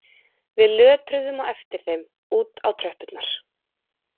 Við lötruðum á eftir þeim út á tröppurnar